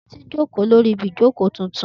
Titi joko lori ibi ìjókò tuntun.